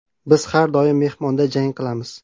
Biz har doim mehmonda jang qilamiz.